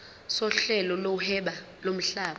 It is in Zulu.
sohlelo lokuhweba lomhlaba